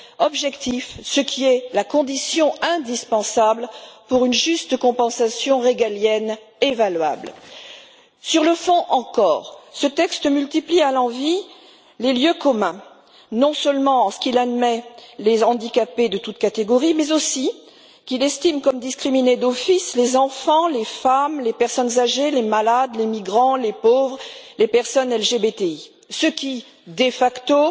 objectif, ce qui est la condition indispensable pour une juste compensation régalienne évaluable. Sur le fond encore, ce texte multiplie à l'envi les lieux communs non seulement en ce qu'il admet des handicapés de toutes les catégories, mais aussi en ce qu'il estime comme victimes d'office de discrimination les enfants, les femmes, les personnes âgées, les malades, les migrants, les pauvres et les personnes LGBTI, ce qui, de facto,